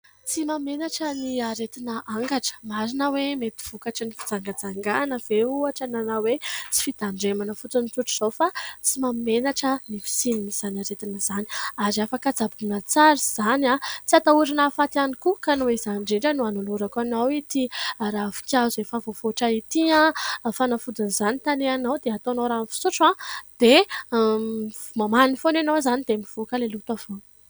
Tsy mahamenatra ny aretina angatra, marina hoe mety vokatry ny fijangajangana ve ohatra na hoe tsy fitandremana fotsiny tsotr'izao fa tsy mahamenatra ny fisian'izany aretina izany ary afaka tsaboina tsara izany, tsy hatahorana ahafaty ihany koa ka noho izany indrindra no hanolorako anao ity ravin-kazo efa vohavoatra ity ho fanafodin'izany, tanehanao dia ataonao rano fisotro dia mamany foana ianao izany dia mivoaka ilay loto avy eo.